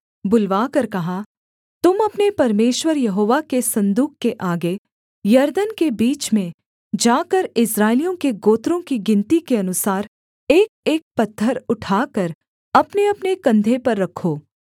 बुलवाकर कहा तुम अपने परमेश्वर यहोवा के सन्दूक के आगे यरदन के बीच में जाकर इस्राएलियों के गोत्रों की गिनती के अनुसार एकएक पत्थर उठाकर अपनेअपने कंधे पर रखो